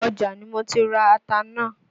Ọjà ni mo ti ra ata náà.